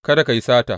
Kada ka yi sata.